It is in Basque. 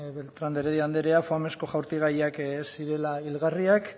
beltrán de heredia andrea foamezko jaurtigaiak ez zirela hilgarriak